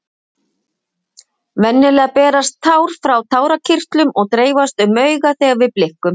venjulega berast tár frá tárakirtlum og dreifast um augað þegar við blikkum